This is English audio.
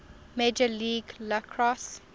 major league lacrosse